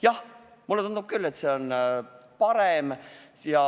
Jah, mulle tundub küll, et see on parem.